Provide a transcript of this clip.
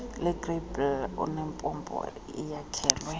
lwegrabile olunempompo eyakhelwe